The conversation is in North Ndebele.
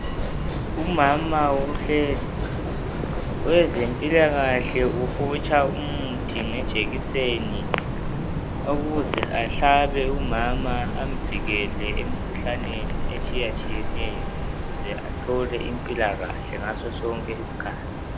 Umama uhlezi owezempilakahle uhotsha umuthi ngejekiseni ukuze ahlabe umama amvikele emikhuhlaneni etshiya tshiyeneyo ukuze athole impilakahle ngasosonke isikhathi.